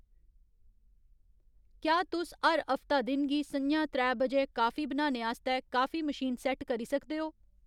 क्या तुस हर हफ्ता दिन गी स'ञां त्रै बजे काफी बनाने आस्तै काफी मशीन सैट्ट करी सकदे ओ